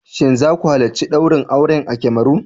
Shin za ku halarci daurin auren a Cameroon.